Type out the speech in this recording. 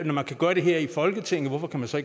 når man kan gøre det her i folketinget hvorfor kan man så